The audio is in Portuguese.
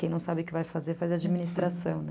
Quem não sabe o que vai fazer, faz administração, né?